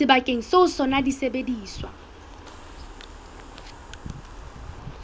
sebakeng seo ho sona disebediswa